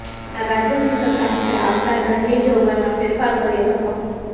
જેમાં રાજ્યની સત્તા હેઠળ આવતાં દંડની જોગવાઇમાં ફેરફાર કર્યો હતો